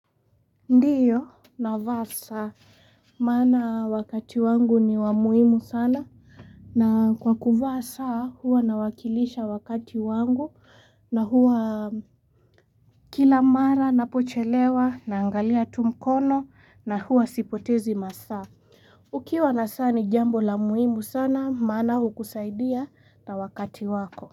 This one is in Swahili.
Ndio navaa saa maana wakati wangu ni wa muhimu sana na kwa kuvaa saa huwa nawakilisha wakati wangu na huwa kila mara napochelewa naangalia tu mkono na huwa sipotezi masaa. Ukiwa na saa ni jambo la muhimu sana maana hukusaidia na wakati wako.